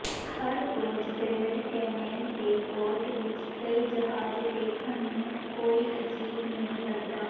ਹਰ ਰੋਜ਼ Grand Cayman ਦੇ port ਵਿਚ ਕਈ ਜਹਾਜ਼ ਦੇਖਣ ਨੂੰ ਕੋਈ ਅਜੀਬ ਨਹੀਂ ਲੱਗਦਾ